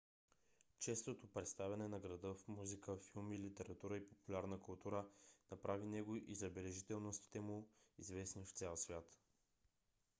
честото представяне на града в музика филми литература и популярна култура направи него и забележителностите му известни в цял свят